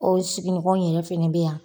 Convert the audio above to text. O sigiɲɔgɔn in yɛrɛ fɛnɛ bɛ yan.